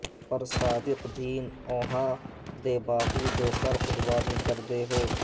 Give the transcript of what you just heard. پر صادق دین اونہاں دے باہو جو سر قربانی کر دے ہو